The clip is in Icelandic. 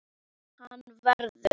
Hann verður.